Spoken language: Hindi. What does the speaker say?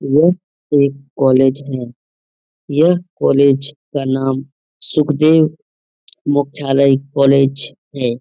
ये एक कोलेज है ये कोलेज का नाम सुखदेव मुख्शाल्य्य कोलेज हैं |